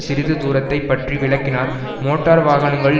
சிறிது தூரத்தைப் பற்றி விளக்கினார் மோட்டார் வாகனங்களின்